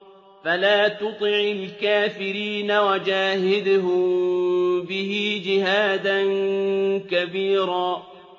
فَلَا تُطِعِ الْكَافِرِينَ وَجَاهِدْهُم بِهِ جِهَادًا كَبِيرًا